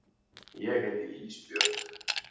Ég heiti Ísbjörg.